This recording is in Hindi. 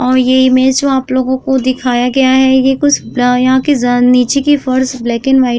और ये इमेज जो आप लोगों को दिखाया गया है ये कुछ अं यहां की ज़ नीचे की फर्श ब्लैक एंड व्हाइट --